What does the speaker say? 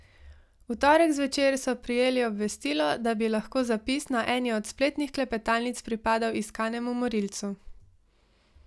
V torek zvečer so prijeli obvestilo, da bi lahko zapis na eni od spletnih klepetalnic pripadal iskanemu morilcu.